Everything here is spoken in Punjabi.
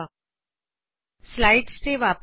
ਅਸੀ ਵਾਪਸ ਆਪਣੀ ਸਲਾਈਡਸ ਤੇ ਜਾਵਾਂਗੇ